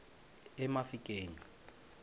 emafikeng